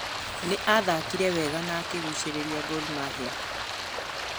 Nĩ athakire wega na akĩgucĩrĩria Gor Mahia.